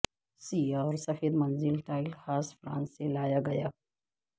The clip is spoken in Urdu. سیاہ اور سفید منزل ٹائل خاص فرانس سے لایا گیا